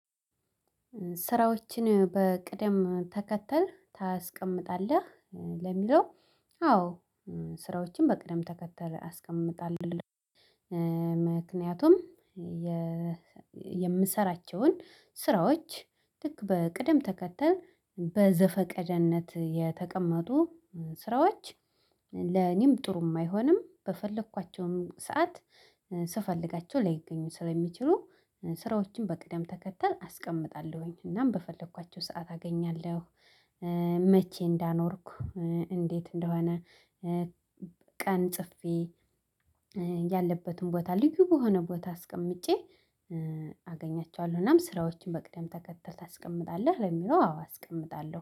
ስራዎችን በቅደም ተከተል ታስቀምጣለህ ለሚለው? አዎ ስራዎችን በቅደም ተከተል አስቀምጣለሁ። ምክንያቱም የ የምሰራቸውን ስራዎች ልክ በቅደም ተከተል በዘፈቀደነት የተቀመጡ ስራዎች ለኔም ጥሩም አይሆንም። በፈለኳቸውም ሰዓት ስፈልጋቸው ላይገኙ ስለሚችሉ ስራዎችን በቅደም ተከተል አስቀምጣለሁኝ እናም በፈለኳቸው ሰዓት አገኛለሁ። መቼ እንዳኖርኩ እንዴት እንደሆነ? ቀን ጽፌ ያለበትን ቦታ ልዩ በሆነ ቦታ አስቀምጬ አገኛቸዋለሁናም። ስራዎችን በቅደም ተከተል ታስቀምጣለህ ለሚለው? አዎ አስቀምጣለሁ